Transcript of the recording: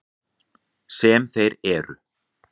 Sem þeir eru.